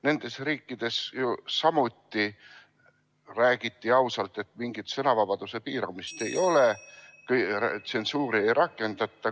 Nendes riikides ju samuti räägiti ausalt, et mingit sõnavabaduse piiramist ei ole, tsensuuri ei rakendata.